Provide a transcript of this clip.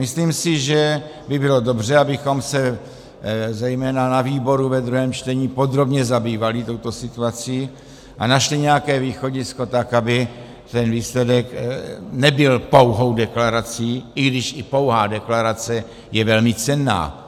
Myslím si, že by bylo dobře, abychom se zejména na výboru ve druhém čtení podrobně zabývali touto situací a našli nějaké východisko tak, aby ten výsledek nebyl pouhou deklarací, i když i pouhá deklarace je velmi cenná.